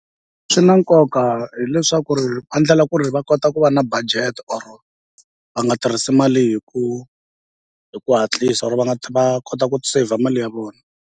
Swi na nkoka hileswaku ri va ndlela ku ri va kota ku va na budget or va nga tirhisi mali hi ku hi ku hatlisa or va nga va kota ku saver mali ya vona.